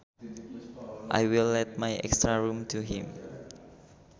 I will let my extra room to him